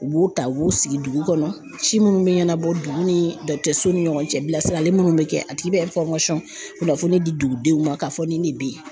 U b'u ta u b'u sigi dugu kɔnɔ, ci minnu bɛ ɲɛnabɔ dugu ni dɔgɔtɔrɔso ni ɲɔgɔncɛ bilasirali minnu bɛ kɛ a tigi bɛ kunnafoni di dugudenw ma k'a fɔ ni de bɛ ye